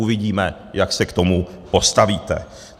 Uvidíme, jak se k tomu postavíte.